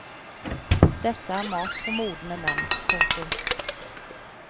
Dette er mat for modne menn. punktum